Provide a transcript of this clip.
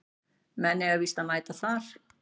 Menn eiga víst að mæta þar